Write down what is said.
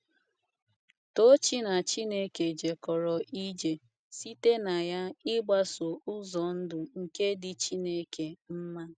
Tochi‘ na Chineke jekọrọ ije ’ site na ya ịgbaso ụzọ ndụ nke dị Chineke mma.